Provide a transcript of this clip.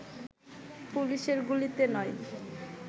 পুলিশের গুলিতে নয়